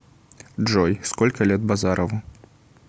джой сколько лет базарову